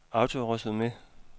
autoresume